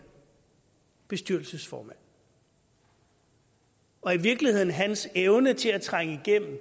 bestyrelsesformand og i virkeligheden hans evne til at trænge igennem